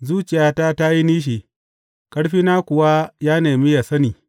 Zuciyata ta yi nishi, ƙarfina kuwa ya nemi yă sani.